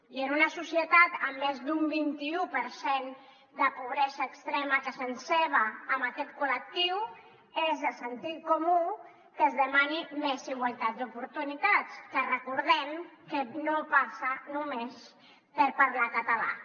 i en una societat amb més d’un vint i u per cent de pobresa extrema que se ceba amb aquest col·lectiu és de sentit comú que es demani més igualtat d’oportunitats que recordem que no passa només per parlar català